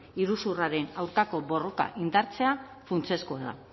iruzurraren aurkako borroka indartzea funtsezkoa da